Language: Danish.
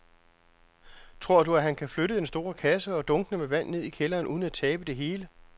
Tror du, at han kan flytte den store kasse og dunkene med vand ned i kælderen uden at tabe det hele?